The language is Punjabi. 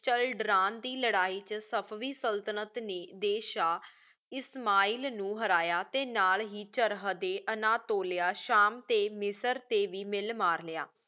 ਚਾਲ੍ਦਰਾਂ ਦੇ ਲਾਰੀ ਵਿਚ ਸਪ੍ਵੀ ਸਲ੍ਤਨਤ ਨੀ ਦੇਸ਼ਾ ਇਸਮਾਇਲ ਨੂ ਹਰਾਯਾ ਟੀ ਨਾਲ ਹੇ ਚਾਰਡੀ ਅਨਾਤੋਲਿਆ ਸ਼ਾਮ ਟੀ ਮਿਸਰ ਟੀ ਵੇ ਮਿਲ ਮਾਰ ਲਾਯਾ